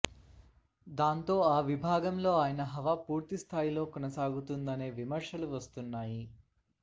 దాంతో ఆ విభాగంలో ఆయన హవా పూర్తిస్థాయిలో కొనసాగుతోందనే విమర్శలు వస్తున్నాయి